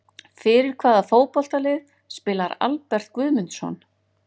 Fyrir hvaða fótboltalið spilar Albert Guðmundsson?